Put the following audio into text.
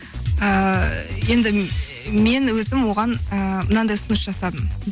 ііі енді мен өзім оған ыыы мынандай ұсыныс жасадым